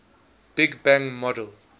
big bang model